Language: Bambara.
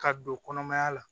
Ka don kɔnɔmaya la